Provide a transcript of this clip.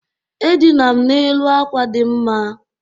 Edina m n'elu àkwà dị mma.